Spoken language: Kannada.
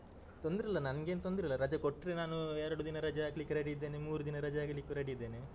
ತೊಂದ್ರೆ ಇಲ್ಲ ನಂಗೇನ್ ತೊಂದ್ರೆ ಇಲ್ಲ ರಜೆ ಕೊಟ್ರೆ ನಾನು ಎರಡು ದಿನ ರಜೆ ಹಾಕ್ಲಿಕ್ಕೆ ready ಇದ್ದೇನೆ ಮೂರು ದಿನ ರಜೆ ಹಾಕ್ಲಿಕ್ಕು ready ಇದ್ದೇನೆ.